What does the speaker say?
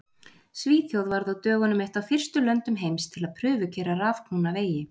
Svíþjóð varð á dögunum eitt af fyrstu löndum heims til að prufukeyra rafknúna vegi.